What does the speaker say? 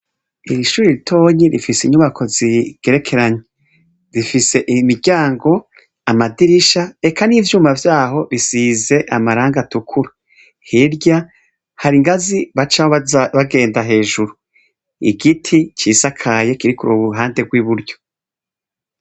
Ishure ritoyi rifise inyubako zigerekeranye rifise imiryango amadirisha eka n'ivyuma bisize amarangi atukura, hirya hari ingazi aho baca bagenda hejuru, igiti cisakaye kiri k'uruhande rw'iburyo.